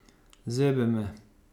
Zebe me.